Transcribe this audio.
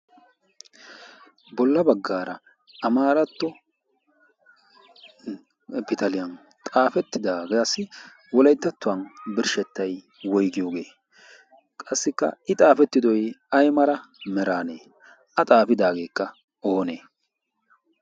bolla baggaara amaaratto pitaliyan xaafettidaagaassi wolayttattuwan birshshettay woigiyoogee qassikka i xaafettidoy ai mara meraanee a xaafidaageekka oonee